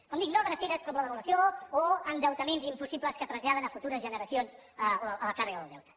com dic no dreceres com la devaluació o endeutaments impossibles que traslladen a futures generacions la càrrega del deute